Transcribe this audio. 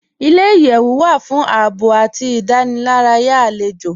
Ilẹ̀-iyẹ̀wù wà fún ààbọ̀ àti ìdánìlàràyà alẹ́jọ́